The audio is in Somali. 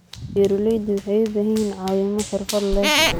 Beeraleydu waxay u baahan yihiin caawimo xirfad leh.